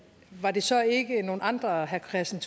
var det så ikke nogle andre herre kristian